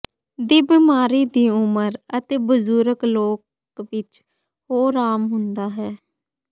ਦੀ ਬਿਮਾਰੀ ਦੀ ਉਮਰ ਅਤੇ ਬਜ਼ੁਰਗ ਲੋਕ ਵਿੱਚ ਹੋਰ ਆਮ ਹੁੰਦਾ ਹੈ